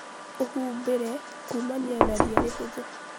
ũhumbĩre kumania na lia rĩhũthũ